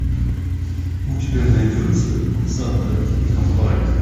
у тебя найдется санта и компания